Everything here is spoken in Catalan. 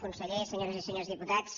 conseller senyores i senyors diputats